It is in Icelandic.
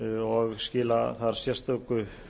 og skila þar sérstöku